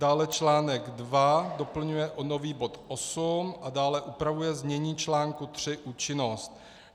Dále článek 2 doplňuje o nový bod 8 a dále upravuje znění čl. 3 Účinnost.